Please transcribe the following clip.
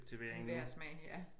Hver smag ja